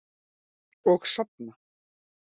Og sofna.